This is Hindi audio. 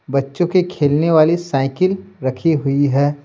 बच्चों के खेलने वाली साइकिल रखी हुई है।